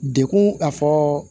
Dekun a fɔ